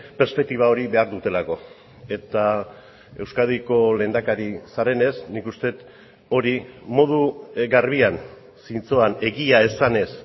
perspektiba hori behar dutelako eta euskadiko lehendakari zarenez nik uste dut hori modu garbian zintzoan egia esanez